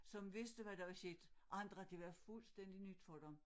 Som vidste hvad der var sket og andre det var fuldstændig nyt for dem